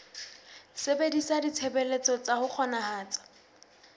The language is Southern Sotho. sebedisa ditshebeletso tsa ho kgonahatsa